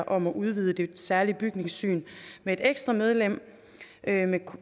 om at udvide det særlige bygningssyn med et ekstra medlem